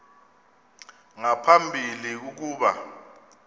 nga phambili ukuba